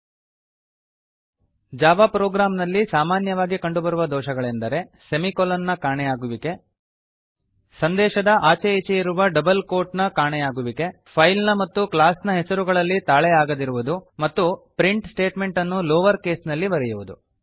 1 Java program ನಲ್ಲಿ ಸಾಮಾನ್ಯವಾಗಿ ಕಂಡುಬರುವ ದೋಷಗಳೆಂದರೆ ಸೆಮಿಕೊಲನ್ ನ ಕಾಣೆಯಾಗುವಿಕೆ ಸಂದೇಶದ ಆಚೆ ಈಚೆ ಇರುವ ಡಬಲ್ ಕೋಟ್ ನ ಕಾಣೆಯಾಗುವಿಕೆ ಫೈಲ್ ನ ಮತ್ತು ಕ್ಲಾಸ್ ನ ಹೆಸರುಗಳಲ್ಲಿ ತಾಳೆಯಾಗದಿರುವುದು ಮತ್ತು ಪ್ರಿಂಟ್ ಸ್ಟೇಟ್ಮೆಂಟ್ ಅನ್ನು ಲೋವರ್ ಕೇಸ್ ನಲ್ಲಿ ಬರೆಯುವುದು